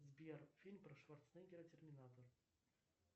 сбер фильм про шварценеггера терминатор